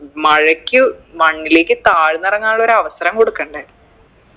മഴയ്ക്ക് മണ്ണിലേക്ക് താഴ്ന്നിറങ്ങാനുള്ളൊരു അവസരം കൊടുക്കണ്ടേ